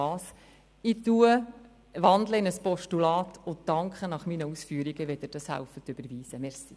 Ich wandle meine Motion in ein Postulat um und danke Ihnen, wenn Sie diese überweisen helfen.